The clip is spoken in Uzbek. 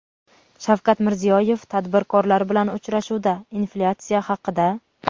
Shavkat Mirziyoyev tadbirkorlar bilan uchrashuvda inflyatsiya haqida:.